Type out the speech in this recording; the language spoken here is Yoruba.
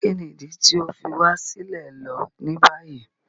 Kíni idi ti o fi wa silẹ lo ni bayi?